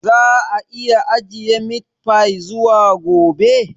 Za a iya ajiye meat fy zuwa gobe?